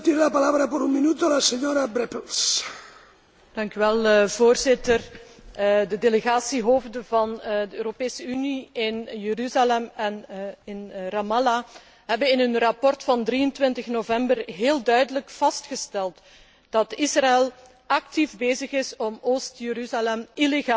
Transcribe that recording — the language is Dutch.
Voorzitter, de delegatiehoofden van de Europese Unie in Jeruzalem en in Ramallah hebben in hun rapport van 23 november heel duidelijk vastgesteld dat Israël actief bezig is om Oost Jeruzalem illegaal te annexeren en volledig te isoleren van de rest van de West Bank.